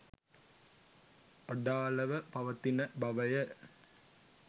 අඩාළව පවතින බවය.